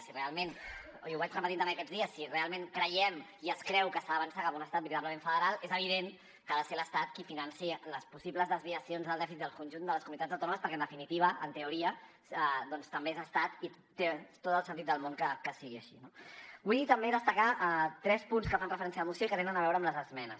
si realment i ho vaig repetint també aquests dies creiem i es creu que s’ha d’avançar cap a un estat veritablement federal és evident que ha de ser l’estat qui financi les possibles desviacions del dèficit del conjunt de les comunitats autònomes perquè en definitiva en teoria doncs també és estat i té tot el sentit del món que sigui així no vull també destacar tres punts que fan referència a la moció i que tenen a veure amb les esmenes